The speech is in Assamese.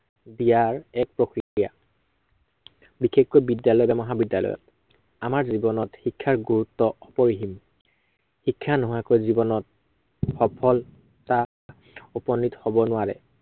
দিয়াৰ এক প্ৰক্ৰিয়া। বিশেষকৈ বিদ্য়ালয়, মহাবিদ্য়ালত। আমাৰ জীৱনত শিক্ষাৰ গুৰুত্ব অপৰিসীম। শিক্ষা নোহোৱাকৈ জীৱনত, সফলতাত উপনীত হব নোৱাৰে।